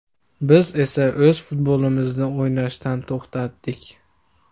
Biz esa o‘z futbolimizni o‘ynashdan to‘xtadik.